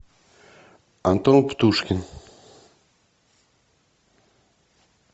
антон птушкин